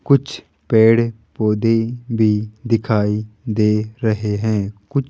कुछ पेड़ पौधे भी दिखाई दे रहे हैं कु--